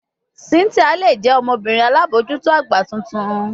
Cynthia le jẹ ọmọbirin alabojuto agba tuntun